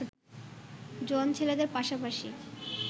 জোয়ান ছেলেদের পাশাপাশি